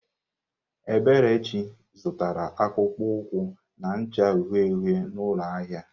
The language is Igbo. Eberechi zụtara akpụkpọ ụkwụ na-acha uhie uhie n'ụlọ ahịa.